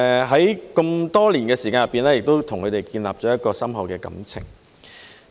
在這麼多年來，我與他們建立了深厚的感情。